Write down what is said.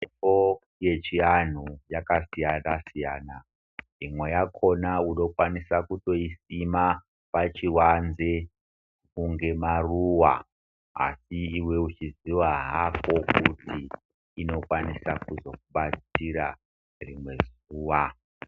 Mitombo yechianhu yakasiyana siyana imwe yakona unokwanisa kutoisima pachivanze kunge maruva asi iwe uchiziya hako kuti inokwanisa kuzokubatsira ngeimwe nguwa